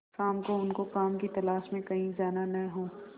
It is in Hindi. शाम को उनको काम की तलाश में कहीं जाना न हो